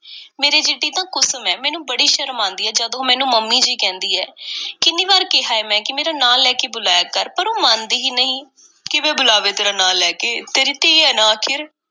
ਮੇਰੇ ਜਿੱਡੀ ਤਾਂ ਕੁਸਮ ਏ, ਮੈਨੂੰ ਬੜੀ ਸ਼ਰਮ ਆਂਦੀ ਏ ਜਦੋਂ ਉਹ ਮੈਨੂੰ ਮੰਮੀ ਜੀ ਕਹਿੰਦੀ ਏ, ਕਿੰਨੀ ਵਾਰ ਕਿਹਾ ਏ ਮੈਂ ਕਿ ਮੇਰਾ ਨਾਂ ਲੈ ਕੇ ਬੁਲਾਇਆ ਕਰ, ਪਰ ਉਹ ਮੰਨਦੀ ਹੀ ਨਹੀਂ। ਕਿਵੇਂ ਬੁਲਾਵੇ ਤੇਰਾ ਨਾਂ ਲੈ ਕੇ, ਤੇਰੀ ਧੀ ਏ ਨਾ ਆਖ਼ਰ।